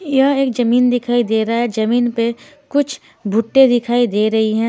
यह एक जमीन दिखाई दे रहा है जमीन पे कुछ भुट्टे दिखाई दे रही हैं।